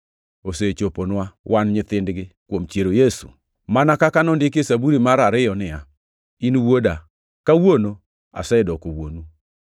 osechoponwa, wan nyithindgi, kuom chiero Yesu. Mana kaka ondiki e Zaburi mar ariyo niya, “ ‘In Wuoda; kawuono asedoko Wuonu.’ + 13:33 \+xt Zab 2:7\+xt*